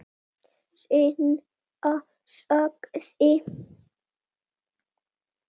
Seinna sagði